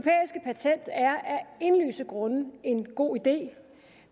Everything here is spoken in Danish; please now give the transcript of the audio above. indlysende grunde en god idé